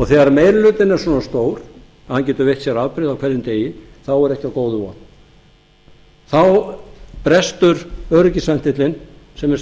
og þegar meiri hlutinn er svona stór að hann getur veitt sér afbrigði á hverjum degi þá er ekki á góðu von þá brestur öryggisventillinn sem er